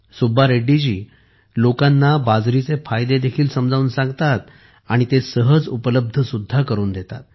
सुब्बा रेड्डी जी लोकांना बाजरीचे फायदे देखील समजावून सांगतात आणि ते सहज उपलब्ध सुद्धा करून देतात